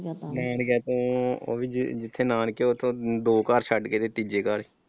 ਤੋਂ ਉਹ ਵੀ ਜਿੱਥੇ ਨਾਨਕੇ ਆ ਉਥੋਂ ਦੋ ਘਰ ਛੱਡ ਕੇ ਤੇ ਤੀਜੇ ਘਰ।